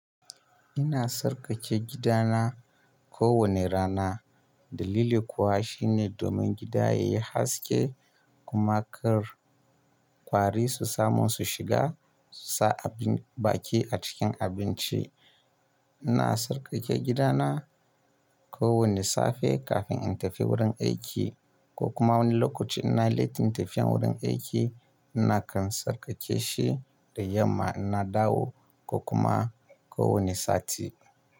Ina sarƙaƙe gida na kowane rana. Dalili kuwa shine domin gida yayi haske kuma kar kwari su samu su shiga, su sa abin baki a cikin abinci. Ina sarƙake gidana kowane safe kafin in tafi wurin aiki ko kuma wani lokaci inayi lettin tafiyan wurin aiki, ina kan sarƙake shi da yamma ina dawo ko kuma ko wane sati.